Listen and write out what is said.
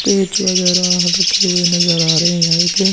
पेच वगैरा रखे हुए नजर आ रहे है की --